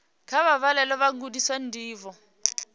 kha vha vhalele vhagudiswa ndivho